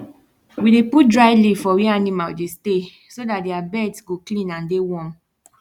we dey put dry leave for where animal dey stay so dat their beds go clean and dey warm